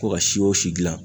Ko ka si o si dilan